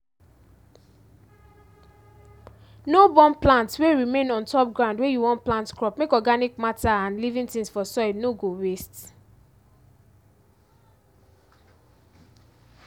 no burn plant wey remain on top ground wey you wan plant crop make organic matter and living things for soil no go waste